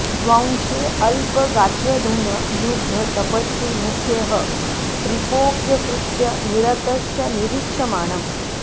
स्वांशे अल्प गात्रधन लुब्ध तपस्वि मुख्यः स्त्रीपोऽप्यकृत्य निरतश्च निरीक्ष्यमाणं